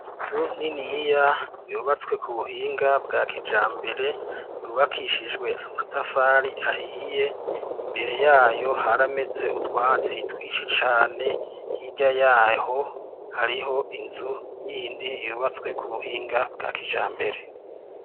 Inzu niniya yubatswe ku buhinga bwa kijambere, yubakishijwe amatafari ahiye. Imbere yayo harameze utwatsi twinshi cane. Hirya yaho hariho inzu yindi yubatswe ku buhinga bwa kijambere.